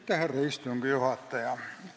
Härra istungi juhataja!